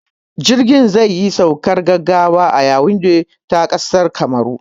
Jirgin zai yi saukar gaggawa a Yawunde ta ƙasar Kamaru